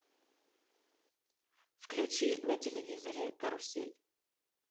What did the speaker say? включи на телевизоре карусель